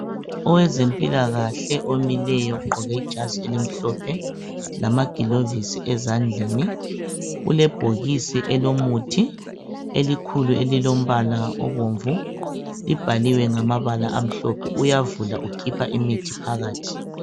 Owezempilakahle omileyo ogqoke ijazi elimhlophe lamagilovisi ezandleni ulebhokisi elomuthi elikhulu elilombala obomvu libhaliwe ngamabala amhlophe uyavula ukhipha imithi phakathi.